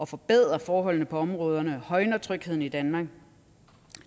forbedrer forholdene på områderne og højner trygheden i danmark